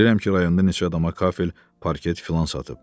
Bilirəm ki, rayonda neçə adama kafel, parket filan satıb.